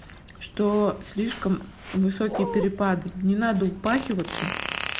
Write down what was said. что слишком высокие перепады не надо упахиваться